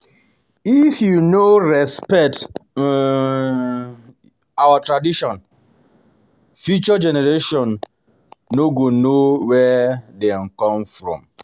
If we no respect um our traditions, future generations no um go know where dem from.